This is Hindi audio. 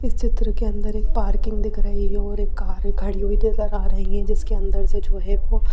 इस चित्र के अंदर एक पार्किंग दिख रही है और एक कारें खड़ी हुई नजर आ रही हैं जिसके अंदर से जो है वो--